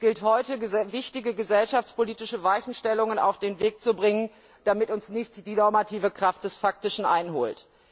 Es gilt heute, wichtige gesellschaftspolitische Weichenstellungen auf den Weg zu bringen, damit uns nicht die normative Kraft des Faktischen einholt.